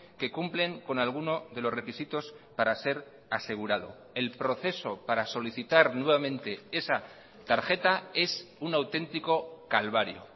que cumplen con alguno de los requisitos para ser asegurado el proceso para solicitar nuevamente esa tarjeta es un auténtico calvario